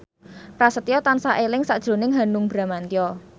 Prasetyo tansah eling sakjroning Hanung Bramantyo